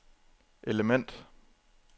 element